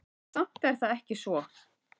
En samt er það ekki svo.